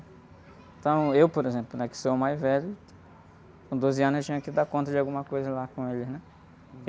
Então eu, por exemplo, que sou o mais velho, com doze anos eu tinha que dar conta de alguma coisa lá com eles, né?